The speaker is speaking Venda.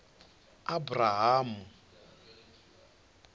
abrahamu